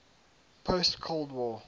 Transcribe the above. post cold war